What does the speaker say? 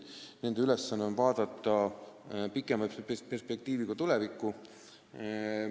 Nende ülesanne on vaadata pikema perspektiiviga tulevikku.